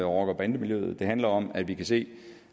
rocker bande miljøet det handler om at vi kan se